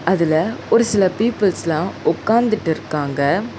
அதுல ஒரு சில பீப்பிள்ஸ்லா ஒக்காந்துட்டு இருக்காங்க.